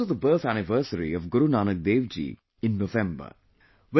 It is also the birth anniversary of Guru Nanak Dev Ji in November